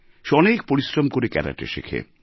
সে অনেক পরিশ্রম করে ক্যারাটে শেখে